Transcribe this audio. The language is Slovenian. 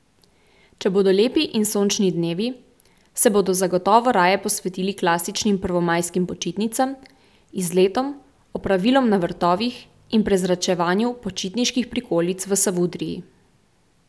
Če bodo lepi in sončni dnevi, se bodo zagotovo raje posvetili klasičnim prvomajskim počitnicam, izletom, opravilom na vrtovih in prezračevanju počitniških prikolic v Savudriji.